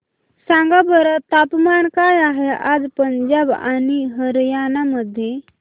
सांगा बरं तापमान काय आहे आज पंजाब आणि हरयाणा मध्ये